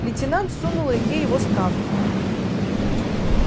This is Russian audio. лейтенант сунул илье его справку